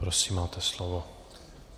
Prosím, máte slovo.